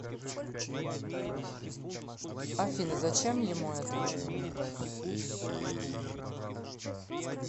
афина зачем ему это